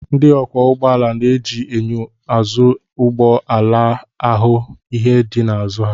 Ndị ọkwọ ụgbọala na-eji enyo azụ ụgbọ ala ahụ ihe dị n'azụ ha